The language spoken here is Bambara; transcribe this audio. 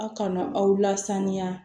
Aw kana aw lasaniya